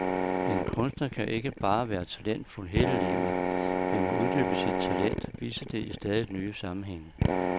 En kunstner kan ikke bare være talentfuld hele livet, men må uddybe sit talent, vise det i stadigt nye sammenhænge.